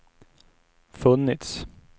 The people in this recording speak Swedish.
funnits